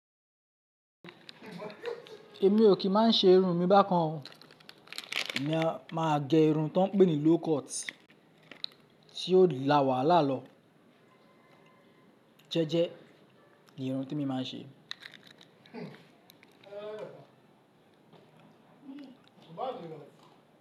Èmi ò kí máa ń ṣe irun mi bá kan o, emi a màá gẹ irun ti wón ń pè ní low cut tí ó la wàhálà lọ. Jẹ́jẹ́, irun tí emi máa ń ṣe.